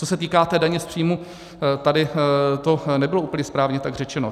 Co se týká té daně z příjmu, tady to nebylo úplně správně tak řečeno.